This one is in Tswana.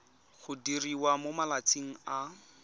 go diriwa mo malatsing a